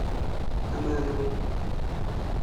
kamano